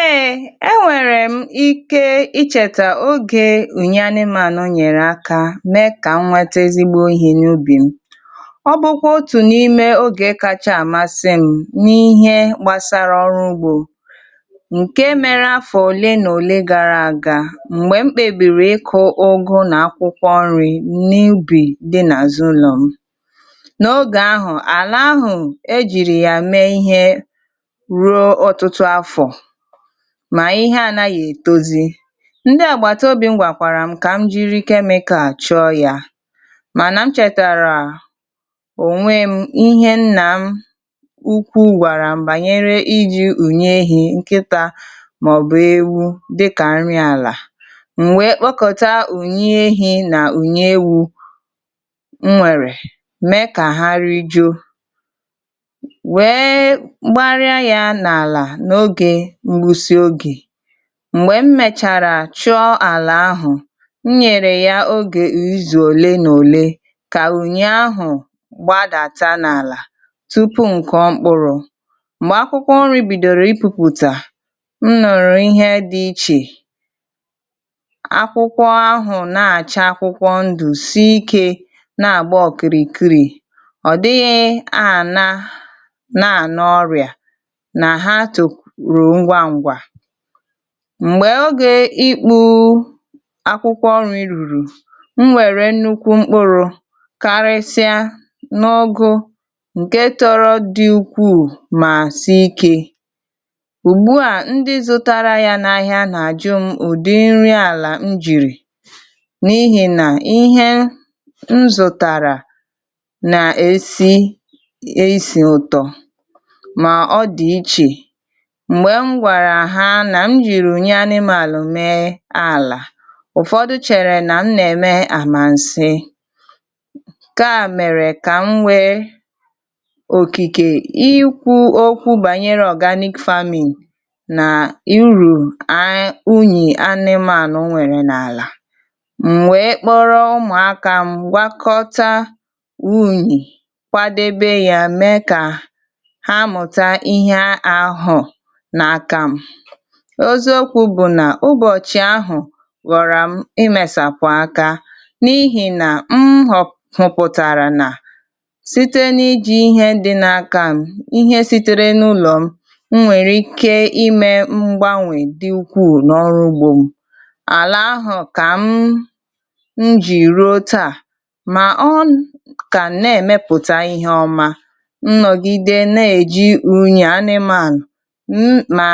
Ee, enwèrè m ike icheta ogè ùnyị anịmanya nyèrè aka mee ka nweta ezigbo ihɛ n’ubì m. Ọ bụ kwa otu n’ime ogè kacha amasị m n’ihe gbàsara ọrụ ugbo nke mere afọ òle na òle gara aga mgbè mkpèbìrị ịkụ ụgụ na akwụkwọ nri n’ubì dị n’azụ ụlọ m. N’ogè ahụ ala ahụ ejịrị ya mee ihe rụọ otụtụ afọ ma ihe anaghị etozi, ndị agbataobi m gbàkwàrà m ka m jiri chemical chọ ya mana m chetara onwe m ihe nna m ukwuu gwàrà m banyere ijị ùnyị ehi, nkịta ma ọ bụ ewu dịka nri ala, m wee kpọkọta ùnyị ehi na ùnyị ewu m nwèrè, me ka ha rijo, wee gbaria ya na ala n’oge mgbụsị oge mgbè m mèchàrà chụọ ala ahụ, m nyèrè ya ogè izu òle n’òle ka ùnyị ahụ gbadata n’ala tupu m kọ mkpụrụ mgbè akwụkwọ nri bìdọrọ ịpupụta m nụrụ ihe dị iche, akwụkwọ ahụ na-acha akwụkwọ ndụ, sịịke na-agba ọkịrịkịrị, ọ dịghị ahụ na na n’ọrịa na ha tu ruo, ngwa ngwa, mgbè ogè ikpu akwụkwọ nri ruru, m nwèrè nnukwu mkpụrụ karịsịrị n’ọgụ nke tọrọ dị ukwuu ma sị ike. Ùgbụa ndị zụtara ya n’ahịa na-ajụ m ụdị nri ala m jịrị n’ihi na ihe nzụtara na-esi esị ụtọ, ma odị iche mgbe ngwàrà ha na m jịrị ùnyị anịmanya mee ala, ụfọdụ chere na m na-eme amansị, ka mere ka m nwɛ òkìkɛ ikwu okwu banyere organic farming na urù a ùnyị anịmanya nwèrɛ n’ala, m wee kpọrọ ụmụaka m gwakọta ùnyị kwadebe ya mee ka ha mụta ihe ahụ n’aka m, oziokwu bụ na ụbọchị ahụ ghọrọ m imesapụ aka n’ihi na m hụpụtara na site n’ijị ihɛ dị na aka m, ihɛ sitere n’ụlọ m nwèrɛ ike ime mgbanwɛ dị ukwuu n’ọrụ ugbo m. Ala ahụ ka m m jị ruo taa ma ọ ka na-emepụta ihe ọma, nnọgide na-eji ùnyɛ anịmanya na